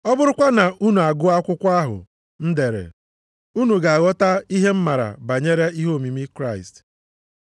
Ọ bụrụkwa na unu agụọ akwụkwọ ahụ m deere, unu ga-aghọta ihe m maara banyere ihe omimi Kraịst.